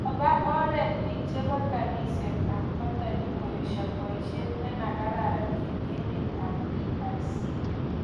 kaba oret biik chebo kaniset ab katholik koesha boisyet nema kararanan eng emet ab DRC